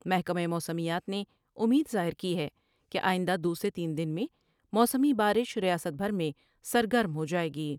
محکمہ موسمیات نے امید ظاہر کی ہے کہ آئند ہ دو سے تین دن میں موسمی با رش ریاست بھر میں سرگرم ہو جاۓ گی ۔